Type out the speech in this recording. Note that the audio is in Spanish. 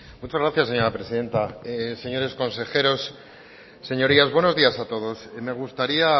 muchas gracias señora presidenta señores consejeros señorías buenos días a todos me gustaría